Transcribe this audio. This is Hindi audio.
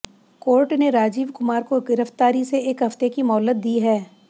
कोर्ट ने राजीव कुमार को गिरफ्तारी से एक हफ्ते की मोहलत दी है